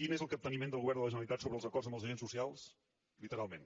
quin és el capteniment del govern de la generalitat sobre els acords amb els agents socials literalment